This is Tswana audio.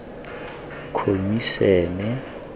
khomisene